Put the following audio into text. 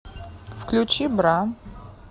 включи бра